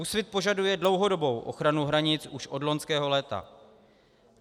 Úsvit požaduje dlouhodobou ochranu hranic už od loňského léta.